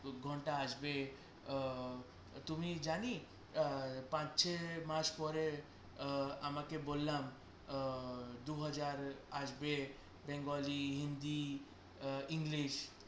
দু ঘন্টা আসবে আহ তুই জানিস আহ পাঁচ ছ মাস পরে আহ আমি ওকে বললাম আহ দু হাজার আসবে bengali hindi আহ english